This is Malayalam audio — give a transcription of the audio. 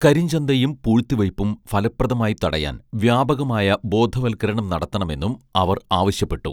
കരിഞ്ചന്തയും പൂഴ്ത്തിവയ്പ്പും ഫലപ്രദമായി തടയാൻ വ്യാപകമായ ബോധവൽക്കരണം നടത്തണമെന്നും അവർ ആവശ്യപ്പെട്ടു